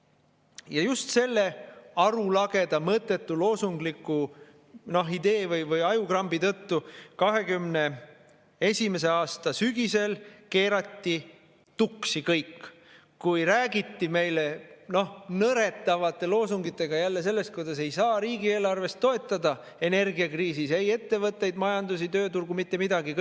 Ja just selle arulageda, mõttetu, loosungliku idee või ajukrambi tõttu 2021. aasta sügisel keerati tuksi kõik, kui räägiti meile nõretavate loosungitega jälle sellest, kuidas ei saa riigieelarvest toetada energiakriisis ei ettevõtteid, majandust, tööturgu – mitte midagi!